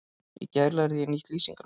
Í gær lærði ég nýtt lýsingarorð.